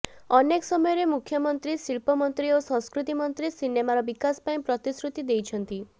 ଅନେକ ସମୟରେ ମୁଖ୍ୟମନ୍ତ୍ରୀ ଶିଳ୍ପ ମନ୍ତ୍ରୀ ଓ ସଂସ୍କୃତି ମନ୍ତ୍ରୀ ସିନେମାର ବିକାଶ ପାଇଁ ପ୍ରତିଶ୍ରୁତି ଦେଇଛନ୍ତି